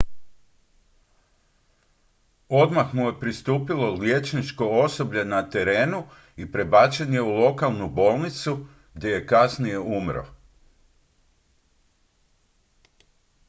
odmah mu je pristupilo liječničko osoblje na terenu i prebačen je u lokalnu bolnicu gdje je kasnije umro